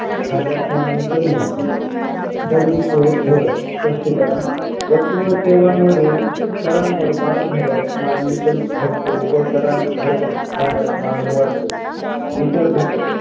झाल्यास मागणी कमी होते कर विषयक धोरण स्पष्टीकरण वस्तू व सेवांवरील करांवर वाढ झाल्यास मागणी घटते व करार घट झाल्यास मागणी वाढते इतर घटक